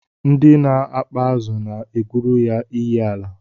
Ndị na-akpa azụ na-egwuru ya iyiala